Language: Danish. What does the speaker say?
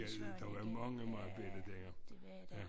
Der var mange mange bella dengang ja